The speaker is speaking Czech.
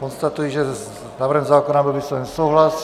Konstatuji, že s návrhem zákona byl vysloven souhlas.